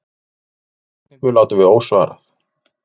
Þeirri spurningu látum við ósvarað.